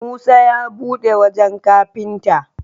Musa ya buɗe wajan kafinta